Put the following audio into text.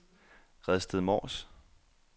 Redsted Mors